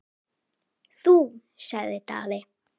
Þú, sagði Daði.